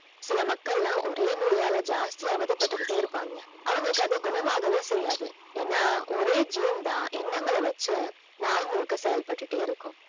சில மக்களலாம் ஒரே நோய்யால ஜாஸ்தி அவதிபடுட்டே இருப்பாங்க அவங்களுக்கு அது குணமாகவே செய்யாது ஏன்னா ஒரே gene தான் எண்ணங்கள் வைச்சு நாள் முழுக்க செயல்படுத்துதே இருக்கும்